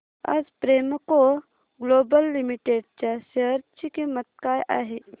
आज Premco global limited च्या share ची किंमत काय आहे